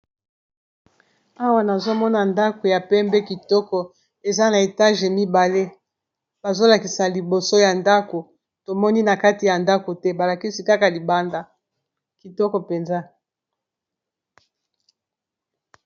Awa nazomona ndako ya pembe kitoko eza na etage mibale bazolakisa liboso ya ndako tomoni na kati ya ndako te balakisi kaka libanda kitoko mpenza.